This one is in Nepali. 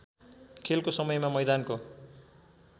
खेलको समयमा मैदानको